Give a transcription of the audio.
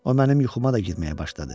O mənim yuxuma da girməyə başladı.